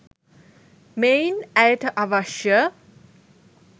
මෙයින් ඇයට අවශ්‍ය